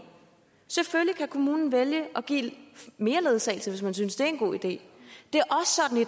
selvfølgelig kan kommunen vælge at give mere ledsagelse hvis man synes det er en god idé